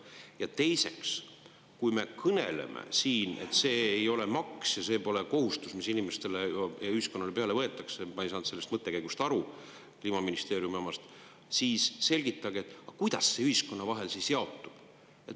Ja teiseks, kui me kõneleme siin, et see ei ole maks ja see pole kohustus, mis inimestele ja ühiskonnale peale võetakse – ma ei saanud sellest mõttekäigust aru, Kliimaministeeriumi omast –, siis selgitage, kuidas see ühiskonna vahel siis jaotub.